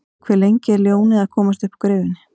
Hve lengi er ljónið að komast uppúr gryfjunni?